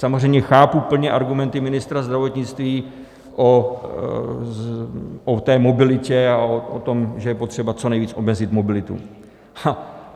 Samozřejmě chápu plně argumenty ministra zdravotnictví o té mobilitě a o tom, že je potřeba co nejvíc omezit mobilitu.